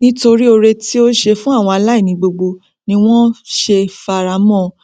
nítotrí ore tí ó ṣe fún aláìní gbogbo ni wọn ṣẹ fara mọn ọn